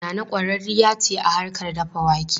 Nana kwararriya ce a harkar dafa wake.